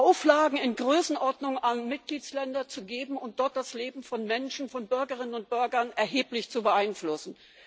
Auflagen in Größenordnungen an Mitgliedsländer zu geben und dort das Leben von Menschen, von Bürgerinnen und Bürgern, erheblich zu beeinflussen?